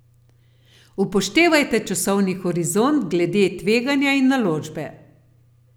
Upoštevajte časovni horizont glede tveganja in naložbe.